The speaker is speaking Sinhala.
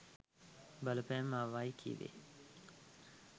බලපෑම් ආවයි කිව්වේ?